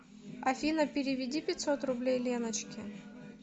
афина переведи пятьсот рублей леночке